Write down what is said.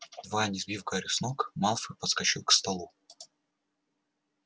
едва не сбив гарри с ног малфой подскочил к столу